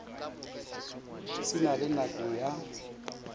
se na le nako ya